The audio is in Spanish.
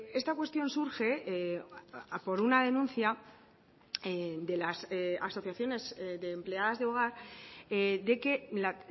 esta cuestión surge por una denuncia de las asociaciones de empleadas de hogar de que la